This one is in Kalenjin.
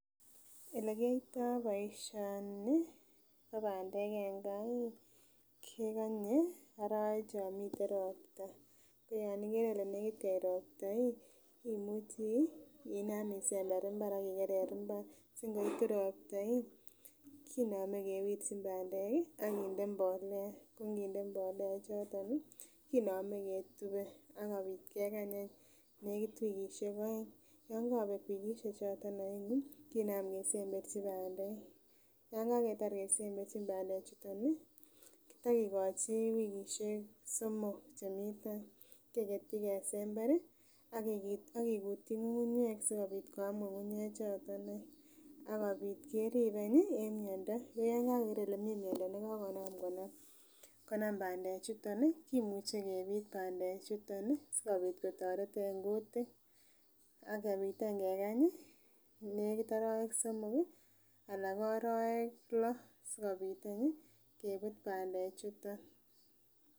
Ele kiyoto boishoni bo pandek en gaa kekonye orowek chon miten ropta ko yon ikere Ile nekit koit ropta imuchi inam isember imbar akikere imbar si nkoitu ropta iih konome kewirchin pandek ak kewirchi mbolea ko nkinde mbolea [ca]choton nii kinome ketube akobit kekany any nekit wikishek oeng yon kobek wikishek chon, kinam kesemberchi pandek. yon kaketar kesemberchi pandek chuton nii kitokikochi wikishek somok chemii tai keketyi kesember akikutyi ngungunyek sikopit koyam ngungunyek choton akopit kerib anyi en miondo . Yekoker kele mii miondo nekokonam konam pandek chuton nii kimuche kepit pandek chuton nii sikopit kotoret en kutik ak kopit any kekanyi nekit orowek somok kii ana ko orowek loo sikopit anyi kebut pandek chuton.